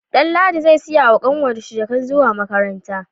Danladi zai siya wa kanwar shi jakar zuwa makaranta